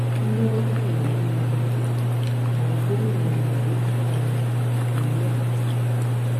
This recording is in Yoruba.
kí ló ń dún nínú um àwọn gómìnà ilẹ haúsá um yìí ná